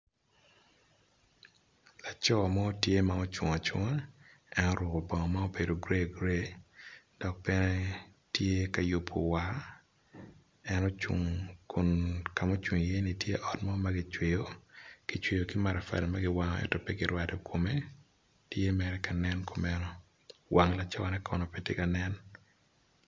Laco mo tye ma ocung acunga en oruku bongo ma gray, Entye ka yubo war. En ocung i ot mo ma kicweyo, kicweyo ki matafali ento ento pe kirwado kome. Wang laco-ni pe tye ka nen.